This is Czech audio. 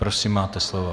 Prosím, máte slovo.